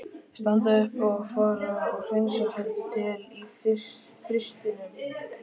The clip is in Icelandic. Standa upp og fara og hreinsa heldur til í frystinum.